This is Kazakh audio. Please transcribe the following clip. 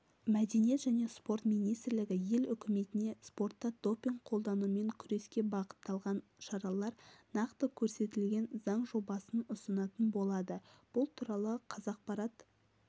мәдениет және спорт министрлігі ел үкіметіне спортта допинг қолданумен күреске бағытталған шаралар нақты көрсетілген заң жобасын ұсынатын болады бұл туралы қазақпарат